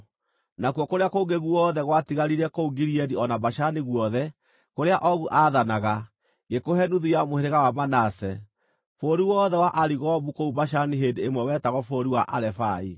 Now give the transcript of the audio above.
Nakuo kũrĩa kũngĩ guothe gwatigaire kũu Gileadi o na Bashani guothe, kũrĩa Ogu aathanaga, ngĩkũhe nuthu ya mũhĩrĩga wa Manase. (Bũrũri wothe wa Arigobu kũu Bashani hĩndĩ ĩmwe wetagwo bũrũri wa Arefai.